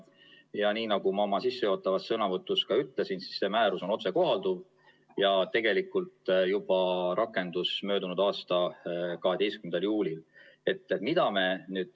Ja nii nagu ma oma sissejuhatavas sõnavõtus ütlesin, siis see määrus on otsekohalduv ning tegelikult rakendus juba möödunud aasta 12. juulil.